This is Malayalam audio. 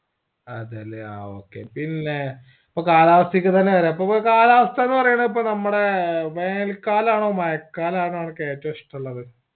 അതേലെ ആ okay പിന്നേ അപ്പൊ കാലാവസ്‌തേയെക്ക് തെന്നെ വര ഇപ്പൊ കാലാവസ്ഥ എന്ന്പറയാണ ഇപ്പൊ നമ്മടെ വേനൽ കാലാണോ മഴ കാലാണോ അനക്ക് ഏറ്റവും ഇഷ്ടുള്ളത്